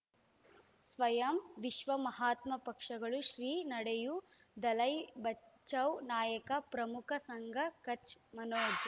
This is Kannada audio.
ಸ್ವಯಂ ವಿಶ್ವ ಮಹಾತ್ಮ ಪಕ್ಷಗಳು ಶ್ರೀ ನಡೆಯೂ ದಲೈ ಬಚೌ ನಾಯಕ ಪ್ರಮುಖ ಸಂಘ ಕಚ್ ಮನೋಜ್